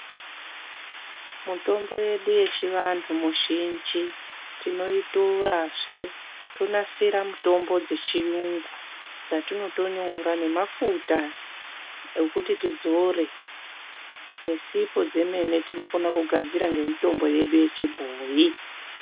Mutombo yedu yechivantu muzhinji tinoitorazve tonasira mutombo dzechiyungu, dzatinotonyora nemafuta okuti tidzore nesipo dzemene tinokona kugadzira nemitombo yedu yechibhoyi.